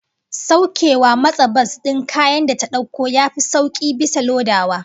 Saukewa motsa bas din kayan da ta dauko yafi sauki bisa lodawa